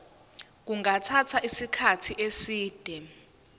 kungathatha isikhathi eside